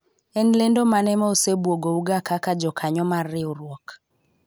en lendo mane ma osebuogo u ga kaka jokanyo mar riwruok ?